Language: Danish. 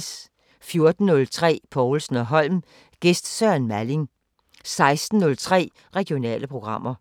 14:03: Povlsen & Holm: Gæst Søren Malling 16:03: Regionale programmer